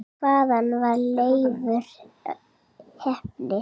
Hvaðan var Leifur heppni?